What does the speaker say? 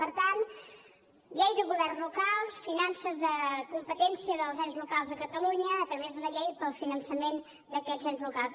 per tant llei de governs locals finances de competència dels ens locals a catalunya a través d’una llei pel finançament d’aquests ens locals